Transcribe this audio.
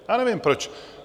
Já nevím proč.